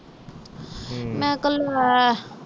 ਮੈਂ ਕਲ ਮੈਂ